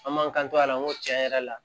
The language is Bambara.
An m'an kanto a la n ko tiɲɛ yɛrɛ la